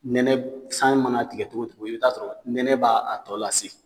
Nɛnɛ san mana tigɛ togo togo i bi t'a sɔrɔ nɛnɛ b'a tɔ lase